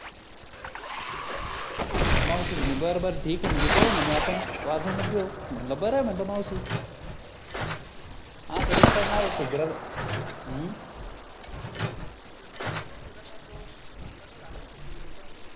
मग मावशी म्हणे बरं बरं ठीक हे म्हणे पाहू म्हणे आपण वाजवूनच देऊ म्हटलं बरं य म्हटलं मावशी हम्म तसा नाही सुधारणार तो लग्न झाल्यावरच सुधरीनं तो